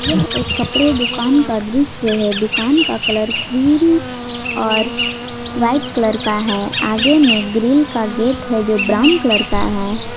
यह एक कपड़े दुकान का दृश्य है दुकान का कलर ग्रीन और वाइट कलर का है आगे में ग्रिल का गेट है जो ब्राउन कलर का है।